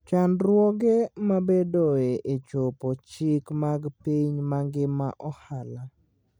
Chandruoge mabedoe e chopo chike mag piny mangima ohala.